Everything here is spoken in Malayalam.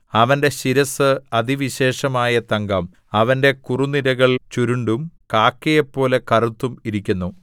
അവന്റെ ശിരസ്സ് അതിവിശേഷമായ തങ്കം അവന്റെ കുറുനിരകൾ ചുരുണ്ടും കാക്കയെപ്പോലെ കറുത്തും ഇരിക്കുന്നു